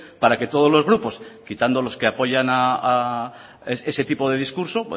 para que todos los grupos quitando los que apoyan ese tipo de discurso